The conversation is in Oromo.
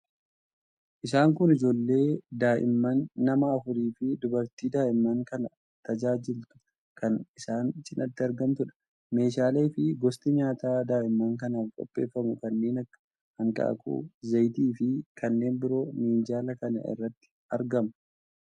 Isaan kun ijoollee daa'imman nama afurii fi dubartii daa'imman kana tajaajiltu kan isaan cinatti argamtudha. Meeshaalee fi gosti nyaataa daa'imman kanaaf qopheeffamu kanneen akka: hanqaaquu, zayitii fi kanneen biroo minjaala kana irratti argama.